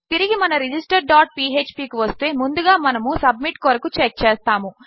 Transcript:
తిరిగిమన register dot PHP కువస్తే ముందుగామనము submit కొరకుచెక్చేస్తాము